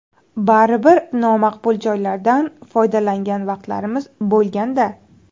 Baribir nomaqbul joylardan foydalangan vaqtlarimiz bo‘lganda.